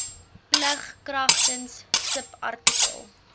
plig kragtens subartikel